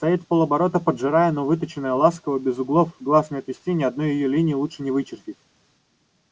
стоит вполоборота поджарая но выточенная ласково без углов глаз не отвести и ни одной её линии лучше не вычертить